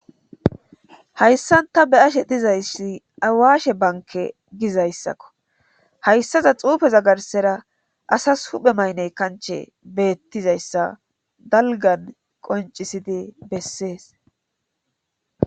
hayssanta be ashe dizayssi awaashe banke gizayssakko hayssaza xuufeza garsera asas huphe maynney kanche beettizayssa dalgan qoncisidi bessees